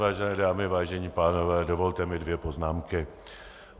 Vážené dámy, vážení pánové, dovolte mi dvě poznámky.